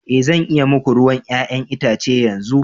Ee zan iya yi muku ruwan 'ya'yan itace yanzu.